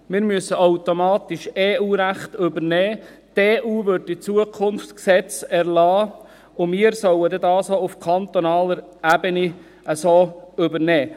Wir müssen automatisch EU-Recht übernehmen, die EU wird in Zukunft Gesetze erlassen, und wir sollen sie auf kantonaler Ebene so übernehmen.